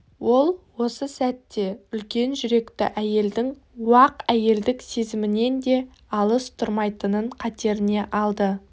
ол осы сәтте үлкен жүректі әйелдің уақ әйелдік сезімінен де алыс тұрмайтынын қатеріне алды